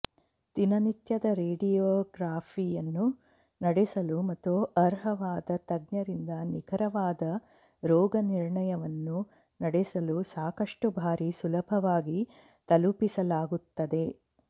ದಿನನಿತ್ಯದ ರೇಡಿಯೊಗ್ರಫಿಯನ್ನು ನಡೆಸಲು ಮತ್ತು ಅರ್ಹವಾದ ತಜ್ಞರಿಂದ ನಿಖರವಾದ ರೋಗನಿರ್ಣಯವನ್ನು ನಡೆಸಲು ಸಾಕಷ್ಟು ಬಾರಿ ಸುಲಭವಾಗಿ ತಲುಪಿಸಲಾಗುತ್ತದೆ